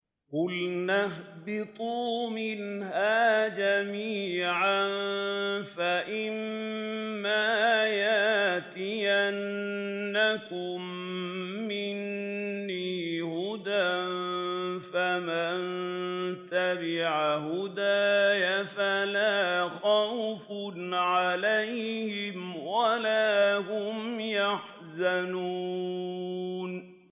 قُلْنَا اهْبِطُوا مِنْهَا جَمِيعًا ۖ فَإِمَّا يَأْتِيَنَّكُم مِّنِّي هُدًى فَمَن تَبِعَ هُدَايَ فَلَا خَوْفٌ عَلَيْهِمْ وَلَا هُمْ يَحْزَنُونَ